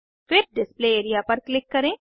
फिर display area पर click करें